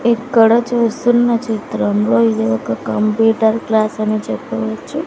ఇక్కడ చూస్తున్న చిత్రంలో ఇది ఒక కంప్యూటర్ క్లాస్ అని చెప్పవచ్చు.